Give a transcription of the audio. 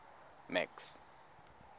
max